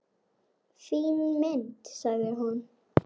Fín mynd, sagði hún.